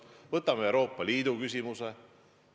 Võtame Euroopa Liidu küsimuse.